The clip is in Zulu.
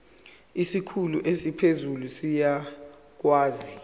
isikhulu esiphezulu siyakwazi